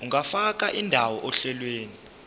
ungafaka indawo ohlelweni